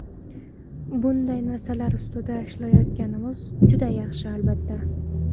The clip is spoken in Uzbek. Bunday narsalar ustida ishlayotganimiz juda yaxshi, albatta.